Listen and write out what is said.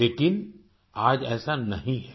लेकिन आज ऐसा नहीं है